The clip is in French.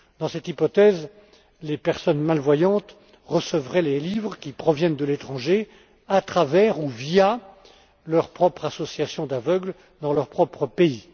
Dans cette hypothèse, les personnes malvoyantes recevraient les livres, qui proviennent de l'étranger à travers ou via leur propre association d'aveugles, dans leur propre